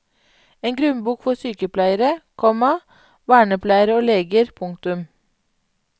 En grunnbok for sykepleiere, komma vernepleiere og leger. punktum